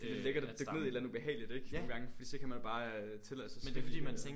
For det er lækkert at dykke ned i et eller anden ubehageligt ikke nogen gange fordi så kan man abre tillade sig at svælge og